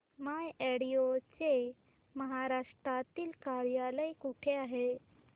माय advo चे महाराष्ट्रातील कार्यालय कुठे आहे